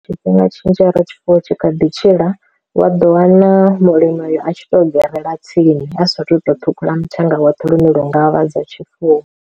Tshifhinga tshinzhi he ra tshifuwo tshi kha ḓi tshila wa ḓo wana mulimi a tshi to gerela tsini a sathu to ṱhukhula mathenga woṱhe lune lwo ngavha dza tshifuwo.